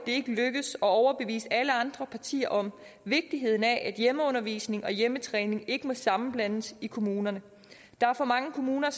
ikke lykkedes at overbevise alle andre partier om vigtigheden af at hjemmeundervisning og hjemmetræning ikke må sammenblandes i kommunerne der er for mange kommuner